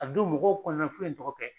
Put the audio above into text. A don mɔgɔw kɔnɔna fɛn in tɔgɔ kɛ